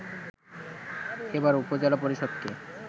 এবার উপজেলা পরিষদকে